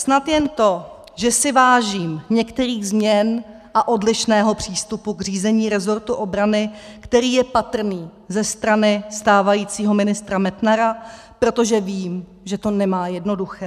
Snad jen to, že si vážím některých změn a odlišného přístupu k řízení resortu obrany, který je patrný ze strany stávajícího ministra Metnara, protože vím, že to nemá jednoduché.